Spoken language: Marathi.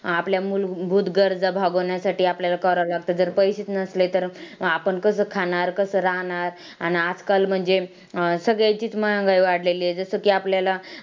आपल्या मूलभूत गरजा भागवण्यासाठी आपल्याला करावं लागतं जर पैसेच नसले तर आपण कसं खाणार, कसं राहणार अन आजकाल म्हणजे अं सगळ्याचीच महागाई वाढलेली आहे जसं की आपल्याला